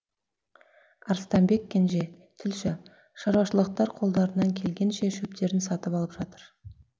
арыстанбек кенже тілші шаруашылықтар қолдарынан келгенше шөптерін сатып алып жатыр